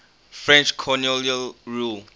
french colonial rule